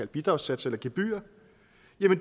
bidragssatser eller gebyrer